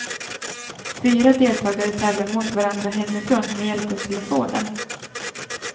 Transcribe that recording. Fyra deltagare tävlar mot varandra hemifrån med hjälp av telefonen.